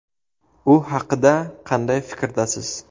U haqida qanday fikrdasiz?